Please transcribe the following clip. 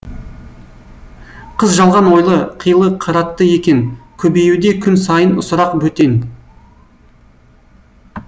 қыз жалған ойлы қилы қыратты екен көбеюде күн сайын сұрақ бөтен